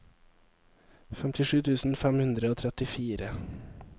femtisju tusen fem hundre og trettifire